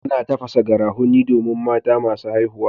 Ana tafasa garafuni domin mata masu haihuwa.